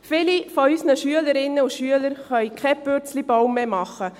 – Viele unserer Schülerinnen und Schüler können keinen Purzelbaum mehr machen.